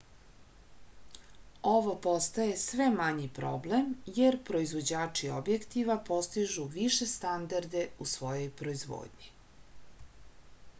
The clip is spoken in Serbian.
ovo postaje sve manji problem jer proivođači objektiva postižu više standarde u svojoj proizvodnji